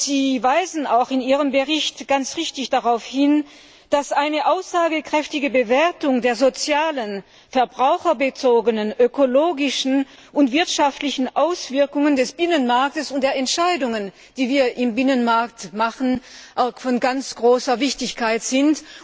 Sie weisen in Ihrem Bericht auch ganz richtig darauf hin, dass eine aussagekräftige Bewertung der sozialen, verbraucherbezogenen, ökologischen und wirtschaftlichen Auswirkungen des Binnenmarkts und der Entscheidungen, die wir im Binnenmarkt treffen, von ganz großer Bedeutung ist.